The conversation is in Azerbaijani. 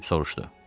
Pip soruşdu.